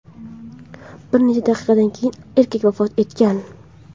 Bir necha daqiqadan keyin erkak vafot etgan.